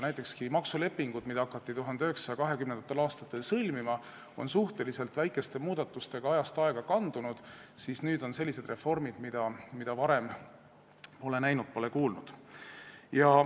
Näiteks, kui maksulepingud, mida hakati 1920. aastatel sõlmima, on suhteliselt väikeste muudatustega ajast aega kandunud, siis nüüd on toimunud sellised reformid, mida varem pole keegi näinud ega kuulnud.